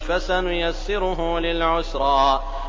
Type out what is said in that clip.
فَسَنُيَسِّرُهُ لِلْعُسْرَىٰ